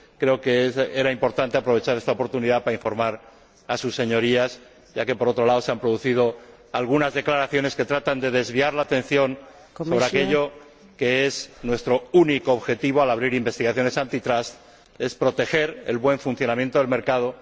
Creo que era importante aprovechar esta oportunidad para informar a sus Señorías, ya que, por otro lado, se han producido algunas declaraciones que tratan de desviar la atención sobre aquello que es nuestro único objetivo al abrir investigaciones antitrust proteger el buen funcionamiento del mercado.